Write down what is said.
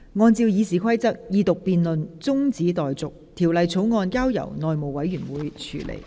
按照《議事規則》，二讀辯論中止待續，條例草案交由內務委員會處理。